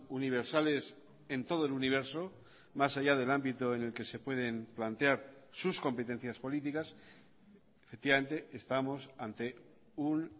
universales en todo el universo más allá del ámbito en el que se pueden plantear sus competencias políticas efectivamente estamos ante un